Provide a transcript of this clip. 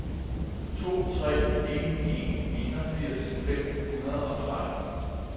to tre en en enogfirs fem hundrede og tretten